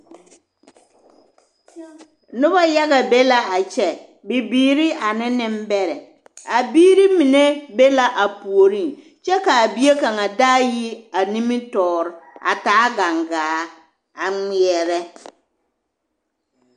Noba yaga be la a kyɛ, bibiiri ane nembɛrɛ, a biiri mine be la a puoriŋ kyɛ k'a bie kaŋa daa yi a nimitɔɔre a taa gaŋgaa a ŋmeɛrɛ.